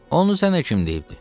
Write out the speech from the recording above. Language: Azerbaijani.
Onun zənə kim deyibdi?